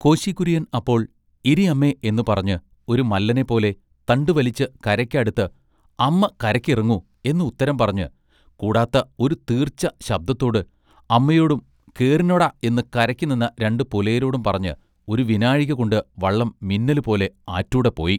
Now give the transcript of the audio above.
കോശി കുര്യൻ അപ്പോൾ “ഇരി അമ്മെ എന്ന് പറഞ്ഞ് ഒരു മല്ലനെ പോലെ തണ്ടു വലിച്ച് കരക്ക് അടുത്ത് “അമ്മ കരക്ക് ഇറങ്ങു” എന്ന് ഉത്തരം പറഞ്ഞ് കൂടാത്ത ഒരു തീർച്ച ശബ്ദത്തോട് അമ്മയോടും "കേറിനൊടാ എന്ന് കരക്ക് നിന്ന രണ്ട് പുലയരോടും പറഞ്ഞ് ഒരു വിനാഴിക കൊണ്ട് വള്ളം മിന്നലുപോലെ ആറ്റൂടെ പോയി.